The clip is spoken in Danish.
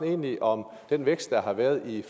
egentlig om den vækst der har været i